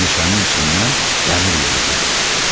Meşənin içindən dəmir yolu gedirdi.